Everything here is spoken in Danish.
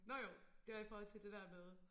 Nåh jo det var i forhold til det der med